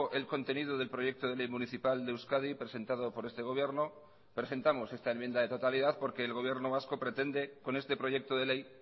el contenido del proyecto de ley municipal de euskadi presentado por este gobierno presentamos esta enmienda de totalidad porque el gobierno vasco pretende con este proyecto de ley